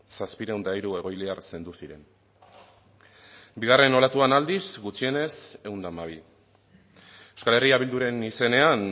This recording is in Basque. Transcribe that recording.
zazpiehun eta hiru egoiliar zendu ziren bigarren olatuan aldiz gutxienez ehun eta hamabi euskal herria bilduren izenean